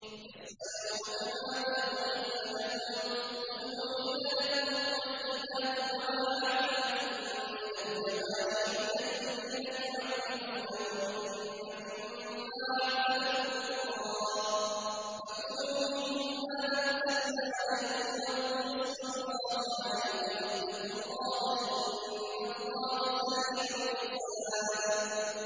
يَسْأَلُونَكَ مَاذَا أُحِلَّ لَهُمْ ۖ قُلْ أُحِلَّ لَكُمُ الطَّيِّبَاتُ ۙ وَمَا عَلَّمْتُم مِّنَ الْجَوَارِحِ مُكَلِّبِينَ تُعَلِّمُونَهُنَّ مِمَّا عَلَّمَكُمُ اللَّهُ ۖ فَكُلُوا مِمَّا أَمْسَكْنَ عَلَيْكُمْ وَاذْكُرُوا اسْمَ اللَّهِ عَلَيْهِ ۖ وَاتَّقُوا اللَّهَ ۚ إِنَّ اللَّهَ سَرِيعُ الْحِسَابِ